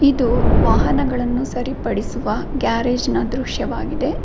ಇದು ವಾಹನಗಳನ್ನು ಸರಿ ಪಡಿಸುವ ಗ್ಯಾರೇಜ್ ನ ದೃಶ್ಯವಾಗಿದೆ.